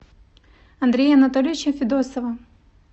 андрея анатольевича федосова